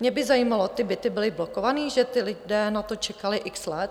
Mne by zajímalo: Ty byty byly blokované, že ti lidé na to čekali x let?